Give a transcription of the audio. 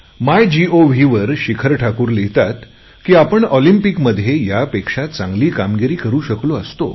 माय गव्हवर शिखर ठाकूर लिहितात की आपण ऑलिम्पिमध्ये यापेक्षा चांगली कामगिरी करु शकलो असतो